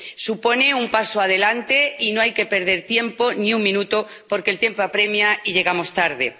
Supone un paso adelante y no hay que perder tiempo, ni un minuto, porque el tiempo apremia y llegamos tarde.